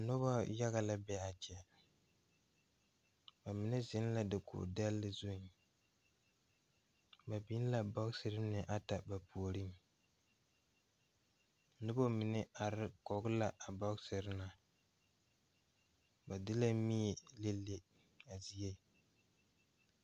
Noba yaga la be a kyɛ bamine zeŋ la dakogi dɛle zu ba biŋ la bɔkesere mine ata ba puoriŋ noba mine are kɔgle la a bɔkesere na ba de la mie le le a zie.